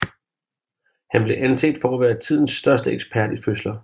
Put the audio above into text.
Han blev anset for at være tidens største ekspert i fødsler